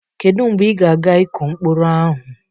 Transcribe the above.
Kedu mgbe ị ga-aga ịkụ mkpụrụ ahụ?